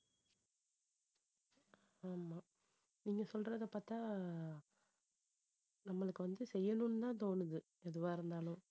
ஆமா. நீங்க சொல்றதை பாத்தா நம்மளுக்கு வந்து செய்யணும்னுதான் தோணுது எதுவா இருந்தாலும்